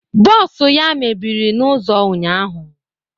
Bos ya mebiri n'ụzọ ụnyaahụ